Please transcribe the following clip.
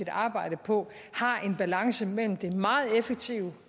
arbejde på har en balance mellem det meget effektive